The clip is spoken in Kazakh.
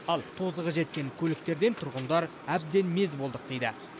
ал тозығы жеткен көліктерден тұрғындар әбден мезі болдық дейді